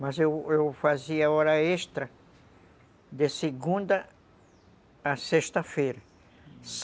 Mas eu fazia hora extra de segunda a sexta-feira.